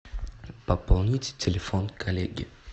пополнить телефон коллеги